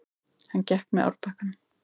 Hann gekk með árbakkanum.